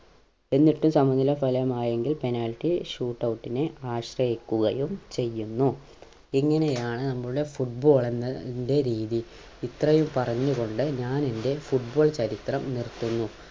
എന്നിട്ടും സമനില ഫലമായെങ്കിൽ penalty shootout നെ ആശ്രയിക്കുകയും ചെയ്യുന്നു ഇങ്ങനെയാണ് നമ്മുടെ football എന്ന ൻ്റെ രീതി ഇത്രയും പറഞ്ഞു കൊണ്ട് ഞാൻ എൻ്റെ football ചരിത്രം നിർത്തുന്നു